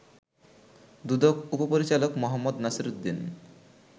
দুদক উপপরিচালক মো. নাসির উদ্দিন